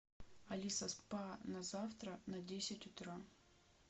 алиса спа на завтра на десять утра